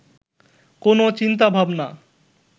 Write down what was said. কোনও চিন্তাভাবনা